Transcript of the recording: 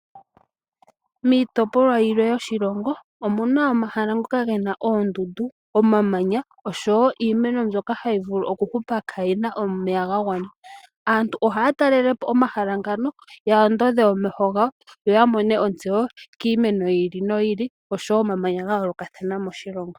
Miitopolwa yilwe yoshilongo omuna omahala ngoka gena oondundu omamanya oshowo iimeno mbyoka hayi vulu oku hupa kaayina omega ga gwana. Aantu ohaya talelapo omahala ngano ya ondodhe omeho gawo yoya mone ontsewo kiimeno yi ili no yi ili oshowo omamanya gayoolokathana moshilongo.